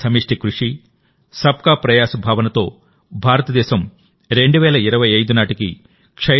సమష్టి కృషి సబ్ కా ప్రయాస్ భావనతో భారతదేశం 2025 నాటికి టి